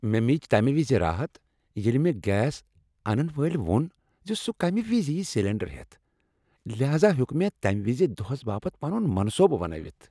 مےٚ میج تمہِ وِزِ راحت ییٚلہِ مےٚ گیس انن وٲلۍ ووٚن زِ سُہ کمہِ وِزِ ییہِ سلٮ۪نٛڈر ہٮ۪تھ ،لہاذا ہیوٚک مےٚ تمہِ وِزِ دۄہس باپت پنُن منصوبہٕ بنٲوِتھ ۔